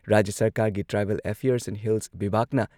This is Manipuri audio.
ꯔꯥꯖ꯭ꯌ ꯁꯔꯀꯥꯔꯒꯤ ꯇ꯭ꯔꯥꯏꯕꯦꯜ ꯑꯐꯤꯌꯔꯁ ꯑꯦꯟ ꯍꯤꯜꯁ ꯕꯤꯚꯥꯒꯅ